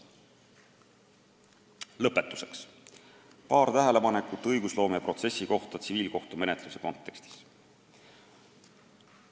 Lõpetuseks paar tähelepanekut õigusloomeprotsessi kohta tsiviilkohtumenetluse kontekstis.